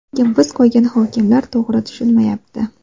Lekin biz qo‘ygan hokimlar to‘g‘ri tushunmayapti.